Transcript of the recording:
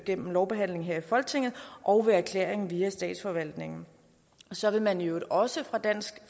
gennem lovbehandling her i folketinget og ved erklæring via statsforvaltningen så vil man i øvrigt også fra dansk